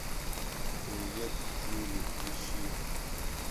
привет джули ищи